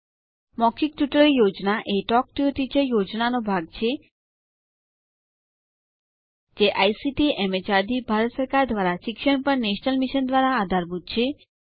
મૌખિક tutorial project a talk to a teacher પ્રોજેક્ટનો ભાગ છે જે આઇસીટીએમએચઆરડીભારત સરકાર દ્વારા શિક્ષણ પર નેશનલ મિશન દ્વારા આધારભૂત છે